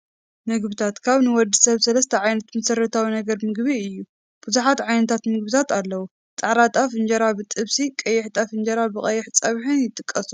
ምግብታት፡-ካብ ንወዲ ሰብ 3 ዓበይቲ መሰረታዊ ነገራት ምግቢ እዩ፡፡ ብዙሓት ዓይነታት ምግብታት ኣለው፡፡ ፃዕዳ ጣፍ እንጀራ ብጥብሲ፣ ቀይሕ ጣፍ እንጀራ ብቀይሕ ፀብሒን ይጥቀሱ፡፡